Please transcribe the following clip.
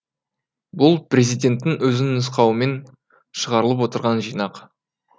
бұл президенттің өзінің нұсқауымен шығарылып отырған жинақ